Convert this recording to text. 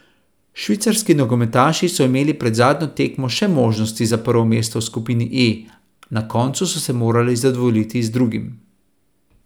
Švicarski nogometaši so imeli pred zadnjo tekmo še možnosti za prvo mesto v skupini E, na koncu so se morali zadovoljiti z drugim.